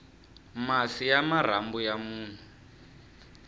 masi ya marhambu ya munhu